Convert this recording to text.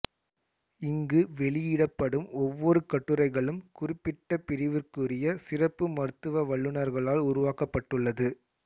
இங்கு வெளியிடப்படும் ஒவ்வொரு கட்டுரைகளும் குறிப்பிட்ட பிரிவிற்குரிய சிறப்பு மருத்துவ வல்லுனர்களால் உருவாக்கப்பட்டுள்ளது